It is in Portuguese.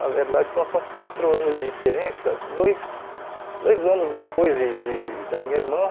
Na verdade são são quatro anos de diferença, dois dois anos depois de de da minha irmã.